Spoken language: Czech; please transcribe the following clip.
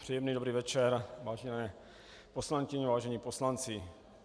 Příjemný dobrý večer, vážené poslankyně, vážení poslanci.